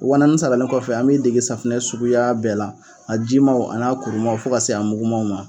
Wa naani saralen kɔfɛ, an b'i dege safunɛ suguya bɛɛ la: a ji maw n'a kuruma fo ka se a mugumaw ma.